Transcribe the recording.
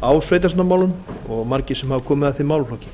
á alþingi á sveitarstjórnarmálum og margir sem hafa komið að þeim málaflokki